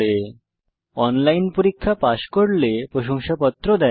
যারা অনলাইন পরীক্ষা পাস করে তাদের প্রশংসাপত্র দেয়